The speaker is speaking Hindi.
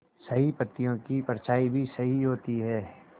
सही पत्तियों की परछाईं भी सही होती है